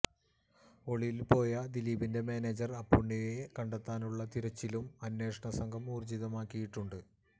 ഒളിവിൽ പോയ ദിലീപിന്റെ മാനേജർ അപ്പുണ്ണിയെ കണ്ടെത്താനുള്ള തിരച്ചിലും അന്വേഷണ സംഘം ഊർജിതമാക്കിയിട്ടുണ്ട്